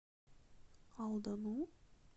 алдану